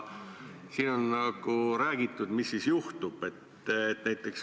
Siin on nagu räägitud, mis siis juhtub.